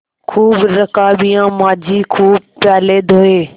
खूब रकाबियाँ माँजी खूब प्याले धोये